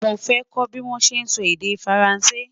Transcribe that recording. mọ fẹ kò bí wón sé sọ èdè faransé